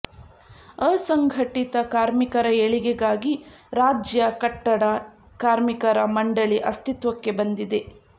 ಅಸಂಘಟಿತ ಕಾರ್ಮಿಕರ ಏಳಿಗೆಗಾಗಿ ರಾಜ್ಯ ಕಟ್ಟಡ ಕಾರ್ಮಿಕರ ಮಂಡಳಿ ಅಸ್ತಿತ್ವಕ್ಕೆ ಬಂದಿದೆ